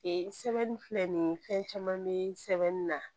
Ee sɛbɛnni filɛ nin ye fɛn caman bɛ sɛbɛnni na